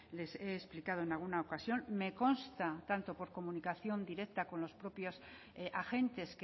les he explicado en alguna ocasión me consta tanto por comunicación directa con los propios agentes